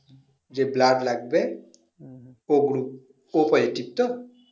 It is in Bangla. যে blood লাগবে o group o positiv তো